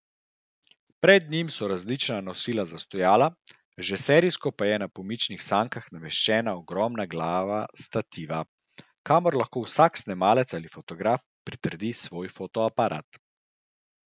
Pred njim so različni nosilci za stojala, že serijsko pa je na pomičnih sankah nameščena ogromna glava stativa, kamor lahko vsak snemalec ali fotograf pritrdi svoj fotoaparat.